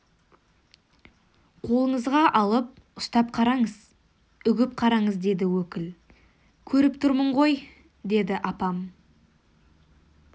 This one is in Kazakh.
қолыңызға алып ұстап қараңыз үгіп қараңыз деді өкіл көріп тұрмын ғой деді апам